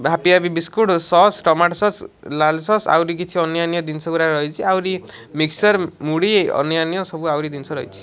Happy happy biscuit sauce tomato sauce ଲାଲ୍ sauce ଆହୁରି କିଛି ଅନ୍ୟାନ୍ୟ ଦିନିଷ ଗୁରା ରହିଚି ଆହୁରି ମିକ୍ସର୍ ମୁଢି ଅନ୍ୟାନ୍ୟ ସବୁ ଆହୁରି ଦିନିଷ ରହିଚି ମୁଢି ଅନ୍ୟାନ୍ୟ ସବୁ ଆହୁରି ଦିନିଷ ରହିଚି।